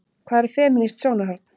Hvað er femínískt sjónarhorn?